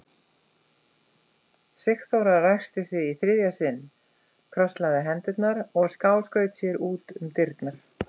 Sigþóra ræskti sig í þriðja sinn, krosslagði hendurnar og skáskaut sér út um dyrnar.